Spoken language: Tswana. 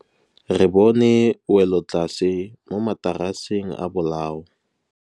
Re bone wêlôtlasê mo mataraseng a bolaô.